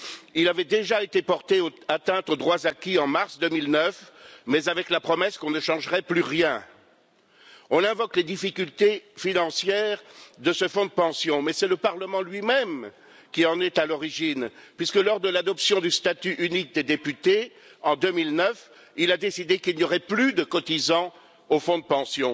Il avait déjà été porté atteinte aux droits acquis en mars 2009, mais avec la promesse qu'on ne changerait plus rien. On invoque les difficultés financières de ce fonds de pension, mais c'est le Parlement lui-même qui en est à l'origine, puisque, lors de l'adoption du statut unique des députés en 2009, il avait décidé qu'il n'y aurait plus de cotisants au fonds de pension.